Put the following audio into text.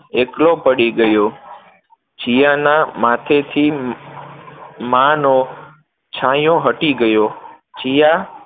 એકલો પડી ગયો, જિયાના માથેથી માંનો છાંયો હટી ગયો, જીયા